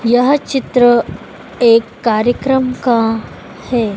यह चित्र एक कार्यक्रम का है।